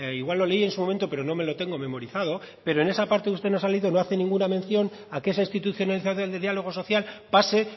igual lo leí en su momento pero no me lo tengo memorizado pero en esa parte usted nos ha leído no hace ninguna mención a que esa institucionalización de diálogo social pase